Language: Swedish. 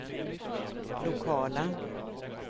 lokala